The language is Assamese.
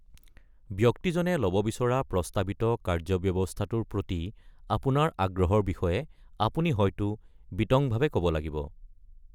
ব্যক্তিজনে ল’ব বিচৰা প্ৰস্তাৱিত কাৰ্য্যব্যৱস্থাটোৰ প্ৰতি আপোনাৰ আগ্ৰহৰ বিষয়ে আপুনি হয়তো বিতংভাৱে ক’ব লাগিব।